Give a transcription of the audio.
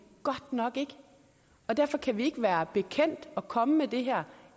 godt nok ikke og derfor kan vi ikke være bekendt at komme med det her